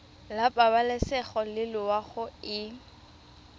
la pabalesego le loago e